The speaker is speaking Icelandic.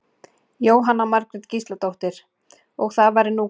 Jóhanna Margrét Gísladóttir: Og það væri nú gaman ef barnabarnið fengi meistaratitil?